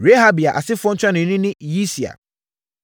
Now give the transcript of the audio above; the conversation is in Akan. Rehabia asefoɔ ntuanoni ne Yisia.